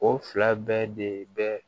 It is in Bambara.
O fila bɛɛ de bɛ